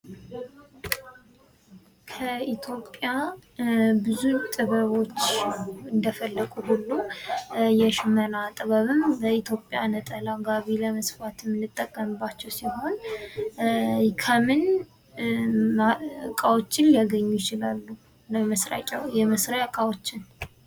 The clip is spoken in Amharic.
ከኢትዮጵያ ብዙ ጥበቦች እንደፈለቁት ሁሉ የሽመና ጥበብም በኢትዮጵያ ነጠላ ጋቢ ለመስፋት የምንጠቀምባቸው ሲሆን፤ ከምን እቃዎችን ሊያገኙ ይችላሉ የመስሪያ እቃዎችን?